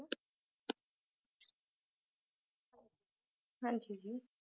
ਹਾਂਜੀ ਜੀ